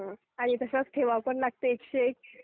हा आणि तसंच ठेवावं पण लागते एक से एक.